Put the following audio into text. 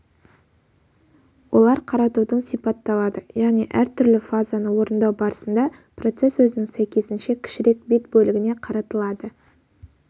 олар қаратудың сипатталады яғни әртүрлі фазаны орындау барысында процесс өзінің сәйкесінше кішірек бет бөлігіне қаратылады